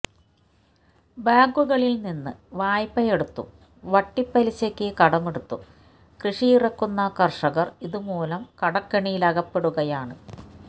ബാങ്കുകളില് നിന്ന് വായ്പയെടുത്തും വട്ടിപ്പലിശക്ക് കടമെടുത്തും കൃഷിയിറക്കുന്ന കര്ഷകര് ഇതു മൂലം കടക്കെണിയിലകപ്പെടുകയാണ്